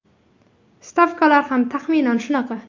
Stavkalar ham taxminan shunaqa.